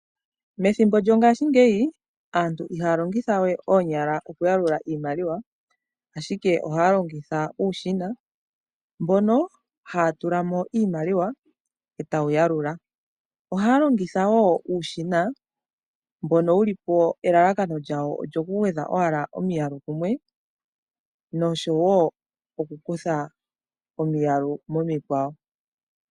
Methimbo lyongashingeyi aantu ihaya longitha we oonyala okuyalula iimaliwa, ashike ohaya longitha uushina. Ohaya tula mo iimaliwa e tawu yalula. Ohaya longitha wo uushina mbono nkene wu li po elalakano lyawo olyokugwedha owala omiyalu kumwe nosho wo okukutha omiyalu momikwawo.